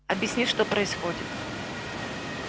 объясни что происходит